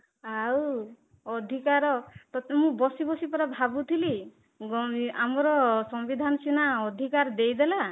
ଆଉ ଅଧିକାର ତତେ ମୁଁ ବସିବସି ପୁରା ଭାବୁଥିଲି ଆମର ସମ୍ବିଧାନ ସିନା ଅଧିକାର ଦେଇଦେଲା